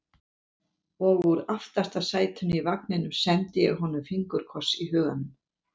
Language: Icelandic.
Og úr aftasta sætinu í vagninum sendi ég honum fingurkoss í huganum.